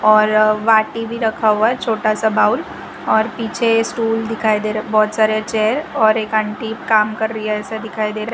और वाटी भी रखा हुआ है छोटा सा बाउल और पीछे स्टूल दिखाई दे रहा बहुत सारे चेयर और एक आंटी काम कर रही है ऐसा दिखाई दे रहा --